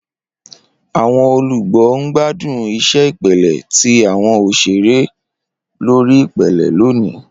Awọn olugbo n gbadun iṣẹ ipele ti awọn oṣere lori ipele loni.